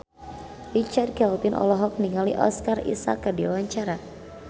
Richard Kevin olohok ningali Oscar Isaac keur diwawancara